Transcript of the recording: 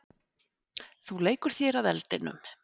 Þú leikur þér að eldinum.